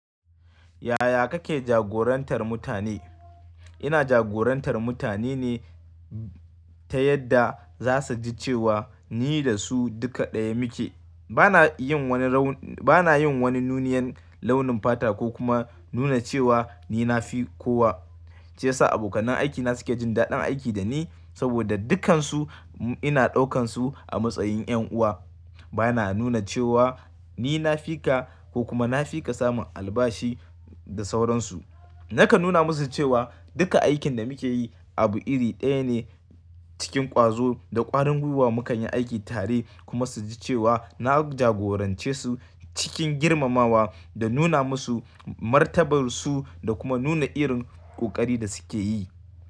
Yaya kake jagorantar mutane? Ina jagorantar mutane ne ta yadda za su ji cewa ni da su duka ɗaya muke. Bana yin wani raun, bana yin wani nuniyan launin fata ko kuma nuna cewa ni na fi kowa. Ce ya sa abokanai aiki na suke jin daɗin aiki da ni saboda dukkansu ina ɗaukan su a matsayin yan uwa. Bana nuna cewa ni na fi ka ko kuma na fi ka samun albashi da sauransu. Nakan nuna musu cewa duka aikin da muke yi abu iri ɗaya ne cikin ƙwazo da ƙwarin gwiwa mu kan yi aiki tare kuma su ji cewa na jagorance su cikin girmamawa da nuna musu martabarsu da kuma nuna irin ƙoƙari da suke yi.